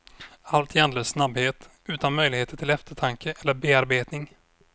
Allt i en andlös snabbhet utan möjligheter till eftertanke eller bearbetning.